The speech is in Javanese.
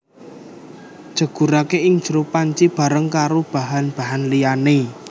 Jegurake ing jero panci bareng karo bahan bahan liyane